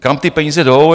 Kam ty peníze jdou?